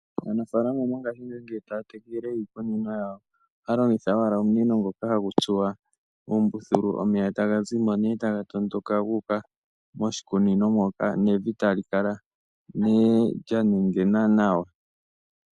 Aanafalama mo ngashi ngeyi, ngele aya tekele iikunino yawo, ohaya longitha wala omunino ngoka ha gutsuwa ombuthulu omeya tagazimo nee taga tondoka guka moshikunino mpoka nevi talikala nee lyanenguna nawa.